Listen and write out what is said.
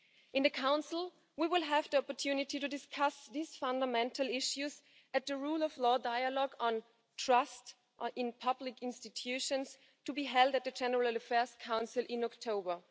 At the Council we will have the opportunity to discuss these fundamental issues at the rule of law dialogue on trust in public institutions, to be held at the General Affairs Council in October.